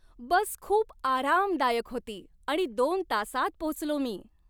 बस खूप आरामदायक होती आणि दोन तासांत पोचलो मी.